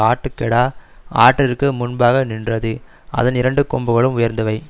ஆட்டுக்கடா ஆற்றிற்கு முன்பாக நின்றது அதன் இரண்டு கொம்புகளும் உயர்ந்தவை